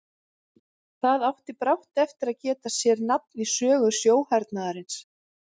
Það átti brátt eftir að geta sér nafn í sögu sjóhernaðarins.